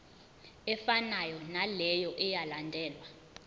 efanayo naleyo eyalandelwa